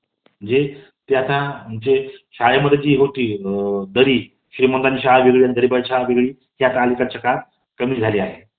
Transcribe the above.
college मधील अश्या अनेक गोष्टी असतात तास हा एक आपल्या जीवनातला महत्वाचा टप्पा असतो ज्यावरून आपल्या पुढच्या career ला दिशा मिळते college हा प्रत्येक व्यक्तीचा सुवर्ण क्षण असतो